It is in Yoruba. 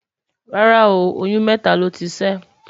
rárá o, oyún mẹta ló tí ṣé